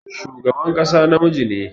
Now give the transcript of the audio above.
Shugaban ƙasa namiji ne.